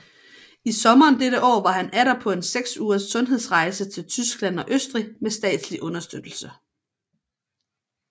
I sommeren dette år var han atter på en 6 ugers sundhedsrejse til Tyskland og Østrig med statslig understøttelse